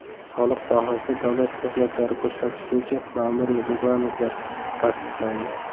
Soliq sohasida davlat xizmatlari ko‘rsatish bo‘yicha ma’muriy reglamentlar tasdiqlandi.